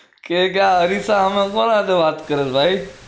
કે કે અરીસા સામે કોના હાથે વાત કર ભાઈ